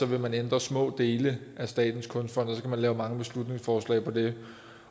vil ændre små dele af statens kunstfond og så man lave mange beslutningsforslag på det